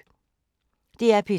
DR P2